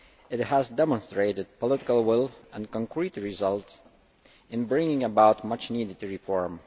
It has demonstrated political will and concrete results in bringing about much needed reform.